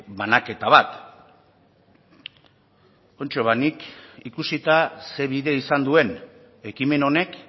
banaketa bat kontxo ba nik ikusita ze bide izan duen ekimen honek